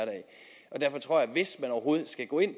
hvis man overhovedet skal gå ind